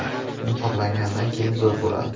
Muhrlangandan keyin zo‘r bo‘ladi.